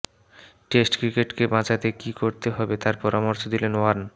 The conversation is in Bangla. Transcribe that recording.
টেস্ট ক্রিকেটকে বাঁচাতে কী করতে হবে তার পরামর্শ দিলেন ওয়ার্ন